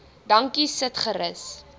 dankie sit gerus